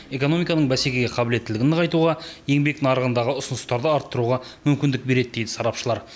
экономиканың бәсекеге қабілеттілігін нығайтуға еңбек нарығындағы ұсыныстарды арттыруға мүмкіндік береді дейді сарапшылар